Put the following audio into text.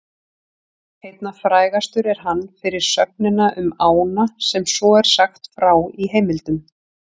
Einna frægastur er hann fyrir sögnina um ána sem svo er sagt frá í heimildum: